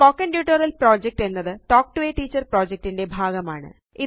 spoken tutorial project എന്നത് talk to a teacher project ന്റെ ഭാഗമാണ്